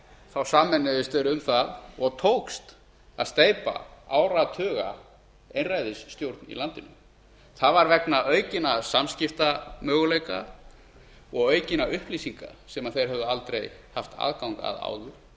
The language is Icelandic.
þá sameinuðust þeir um það og tókst að steypa áratugaeinræðisstjórn í landinu það var vegna aukinna samskiptamöguleika og aukinna upplýsinga sem þeir höfðu aldrei haft aðgang að